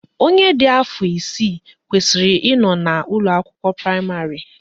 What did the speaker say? Onye dị afọ isii kwesịrị ị nọ na ụlọakwụkwọ praịmarị